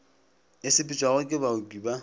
e sepetšwago ke baoki ba